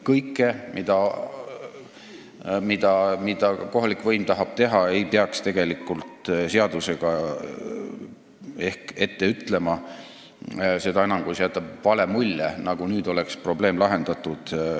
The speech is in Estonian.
Kõike, mida kohalik võim tahab teha, ei peaks ehk seadusega ette ütlema, seda enam, kui see jätab vale mulje, nagu nüüd oleks probleem lahendatud.